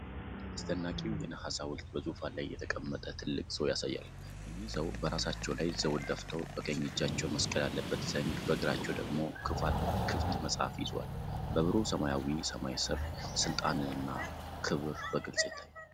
አስደናቂው የነሐስ ሐውልት በዙፋን ላይ የተቀመጠ ትልቅ ሰው ያሳያል። እኚህ ሰው በራሳቸው ላይ ዘውድ ደፍተው፣ በቀኝ እጃቸው መስቀል ያለበት ዘንግ፣ በግራቸው ደግሞ ክፍት መጽሐፍ ይዘዋል። በብሩህ ሰማያዊ ሰማይ ስር፣ ስልጣንና ክብር በግልጽ ይታያል።